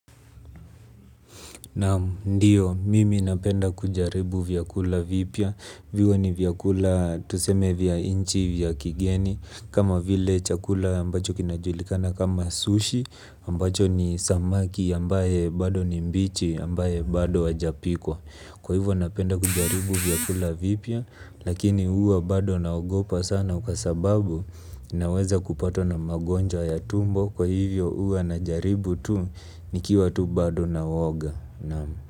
Naam, ndio mimi napenda kujaribu vyakula vipya. Viwe ni vyakula tuseme vya nchi vya kigeni kama vile chakula ambacho kinajulikana kama sushi ambacho ni samaki ambaye bado ni mbichi ambaye bado hajapikwa. Kwa hivyo napenda kujaribu vyakula vipya lakini huwa bado naogopa sana kwa sababu naweza kupatwa na magonjwa ya tumbo kwa hivyo huwa najaribu tu nikiwa tu bado na uoga naam.